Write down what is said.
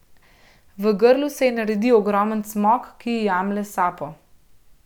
V grlu se ji naredi ogromen cmok, ki ji jemlje sapo.